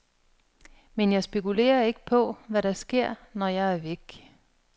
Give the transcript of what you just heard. Men jeg spekulerer ikke på, hvad der sker, når jeg er væk.